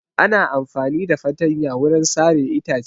Ana amfani da fatanya wurin sare itace.